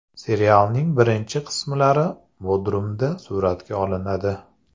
Serialning birinchi qismlari Bodrumda suratga olinadi.